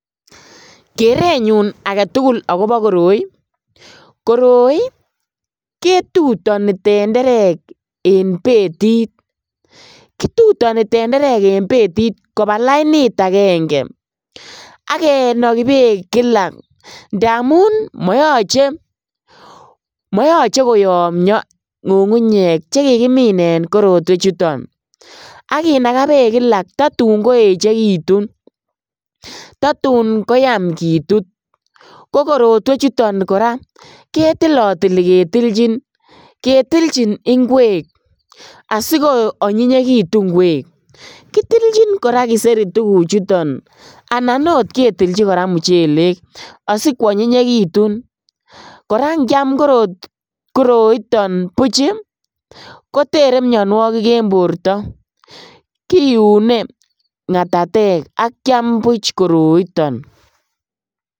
Kerenyun agetugul akobo koroi, koroi ii ketutoni tenderek en betit, kituroni tenderek en betit kobaa lainit agenge ak kinoki beek kila ndamun moyoche , moyoche koyomio ngungunyek che kikimine tuguchuton, ak kinakaa beek kilak tatun koechekitun, ytatun koyaam kitut ko korotwechuton koraa ketilotili ketilchin inkwek asikoonyinyekitun inkwek, kitilchin koraa kiseri tuguchuton anan oot ketilchi muchelek asikwonyinyekitun, koraa inkiaam koroiton buch ii kotere mionuokik en borto kiune ngatatek ak kiaam buch koroiton.